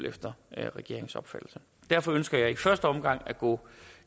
efter regeringens opfattelse derfor ønsker jeg i første omgang at gå